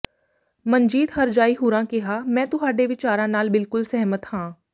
ਮਨਜੀਤ ਹਰਜਾਈ ਹੁਰਾਂ ਕਿਹਾ ਮੇਂ ਤੁਹਾਡੇ ਵਿਚਾਰਾਂ ਨਾਲ ਬਿਲਕੁਲ ਸੇਹ੍ਮਤ ਹਾਂ